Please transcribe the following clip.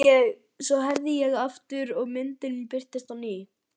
Svo herði ég aftur og myndin birtist á ný.